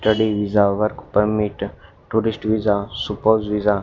study visa work permit tourist visa super visa --